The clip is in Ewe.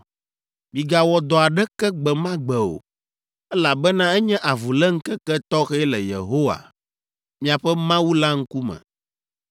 Migawɔ dɔ aɖeke gbe ma gbe o, elabena enye avuléŋkeke tɔxɛ le Yehowa, miaƒe Mawu la ŋkume.